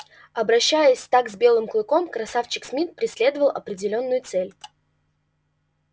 обращаясь так с белым клыком красавчик смит преследовал определённую цель